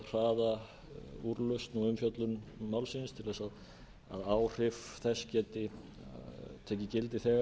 að hraða úrlausn og umfjöllun málsins til að áhrif þess geti tekið gildi þegar